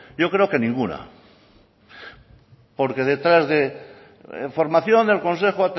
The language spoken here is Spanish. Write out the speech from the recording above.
yo creo que ninguna porque detrás de formación del consejo